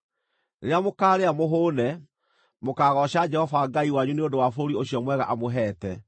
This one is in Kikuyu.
Rĩrĩa mũkaarĩa mũhũũne, mũkaagooca Jehova Ngai wanyu nĩ ũndũ wa bũrũri ũcio mwega amũheete.